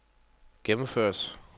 gennemføres